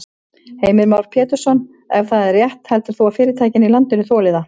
Heimir Már Pétursson: Ef það er rétt heldur þú að fyrirtækin í landinu þoli það?